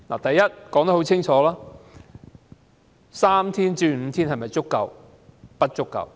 第一，把侍產假由3天增至5天是否足夠？